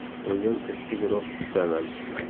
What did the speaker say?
O‘zim ishchi guruh tuzaman.